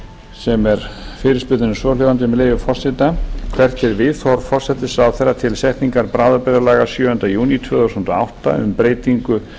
fyrirspurnin er svohljóðandi með leyfi forseta hvert er viðhorf forsætisráðherra til setningar bráðabirgðalaga sjöunda júní tvö þúsund og átta um breytingu